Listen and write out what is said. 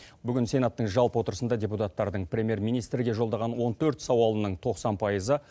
бүгін сенаттың жалпы отырысында депутаттардың премьер министрге жолдаған он төрт сауалының тоқсан пайызы